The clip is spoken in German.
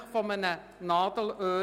Bis morgen um 9.00 Uhr.